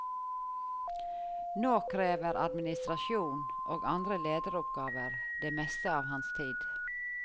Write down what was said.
Nå krever administrasjon og andre lederoppgaver det meste av hans tid.